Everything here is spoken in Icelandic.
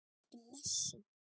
Stutt messa.